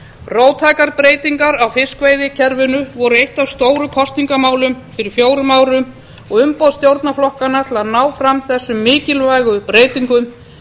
róttækar breytingar á fiskveiðikerfinu voru eitt af stóru kosningamálunum fyrir fjórum árum og umboð stjórnarflokkanna til að ná fram þessum mikilvægu breytingum